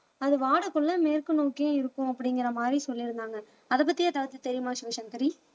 அது வாடக்குள்ள மேற்கு நோக்கியும் இருக்கும் அப்படிங்கிற மாதிரி சொல்லி இருந்தாங்க அதை பத்தி ஏதாச்சும் தெரியுமா சிவசங்கரி